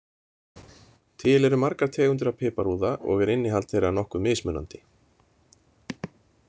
Til eru margar tegundir af piparúða og er innihald þeirra nokkuð mismunandi.